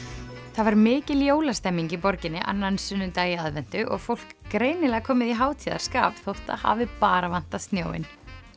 það var mikil jólastemning í borginni annan sunnudag í aðventu og fólk greinilega komið í hátíðarskap þótt það hafi bara vantað snjóinn